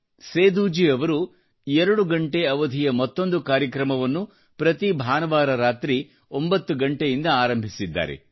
ಸೇದೂಜೀ ಅವರು ಎರಡು ಗಂಟೆ ಅವಧಿಯ ಮತ್ತೊಂದು ಕಾರ್ಯಕ್ರಮವನ್ನು ಪ್ರತಿ ಭಾನುವಾರ ರಾತ್ರಿ 9 ಗಂಟೆಯಿಂದ ಆರಂಭಿಸಿದ್ದಾರೆ